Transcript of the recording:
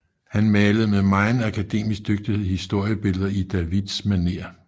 Han malede med megen akademisk dygtighed historiebilleder i Davids manér